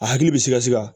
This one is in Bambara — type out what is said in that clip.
A hakili bɛ sikasɛ ka